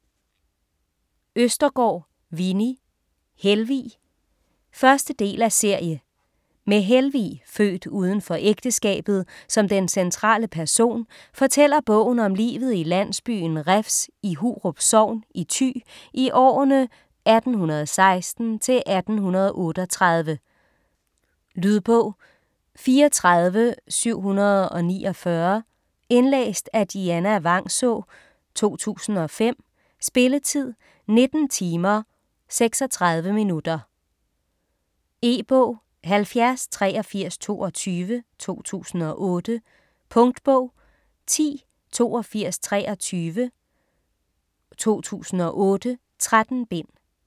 Østergaard, Winni: Helvig 1. del af serie. Med Helvig, født uden for ægteskabet, som den centrale person, fortæller bogen om livet i landsbyen Refs i Hurup sogn i Thy i årene 1816 til 1838. Lydbog 34749 Indlæst af Dianna Vangsaa, 2005. Spilletid: 19 timer, 36 minutter. E-bog 708322 2008. Punktbog 108223 2008. 13 bind.